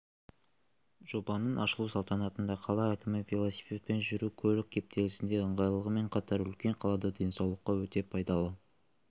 жобаның ашылу салтанатында қала әкімі велосипедпен жүру көлік кептелісінде ыңғайлылығымен қатар үлкен қалада денсаулыққа өте пайдалы